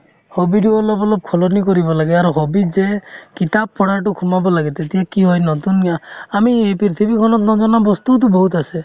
hobby তো অলপ অলপ সলনি কৰিব লাগে আৰু hobby ত যে কিতাপ পঢ়াতো সোমাব লাগে তেতিয়া কি হয় নতুন জ্ঞা আমি এই পৃথিৱীখনত নজনা বস্তুওতো বহুত আছে